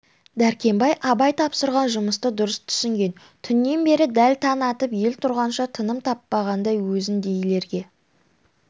дәркембай абай тапсырған жұмысты дұрыс түсінген түннен бері дәл таң атып ел тұрғанша тыным таппаған өзіңдейлерге